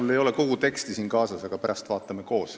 Mul ei ole kogu teksti siin kaasas, aga pärast vaatame koos.